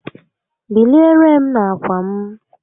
Biliere m n'akwa m